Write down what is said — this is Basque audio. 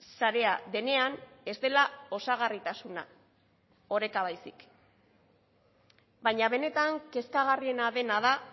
sarea denean ez dela osagarritasuna oreka baizik baina benetan kezkagarriena dena da